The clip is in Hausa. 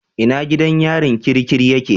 Ina gidan yarin kirikiri yake?